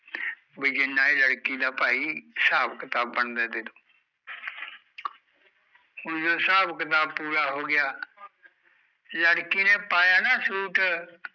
ਵੀ ਜਿੰਨਾ ਇਹ ਲੜਕੀ ਦਾ ਭਾਈ ਹਿਸਾਬ ਕਿਤਾਬ ਬਣਦਾ ਐ ਦੇਦੋ ਹੁਣ ਜਦੋਂ ਹਿਸਾਬ ਕਿਤਾਬ ਪੂਰਾ ਹੋਗਿਆ ਲੜਕੀ ਨੇ ਪਾਇਆ ਨਾ ਸੂਟ